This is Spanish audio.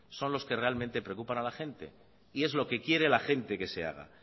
son los que realmente preocupan a la gente y es lo que quiere la gente que se haga